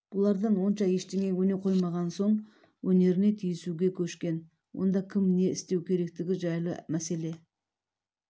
бұлардан онша ештеңе өне қоймаған соң өнеріне тиісуге көшкен онда кім не істеу керектігі жайлы мәселе